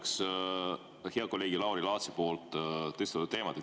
Ma jätkaks hea kolleegi Lauri Laatsi tõstatatud teemat.